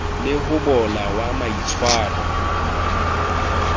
le ho bola ha maitshwaro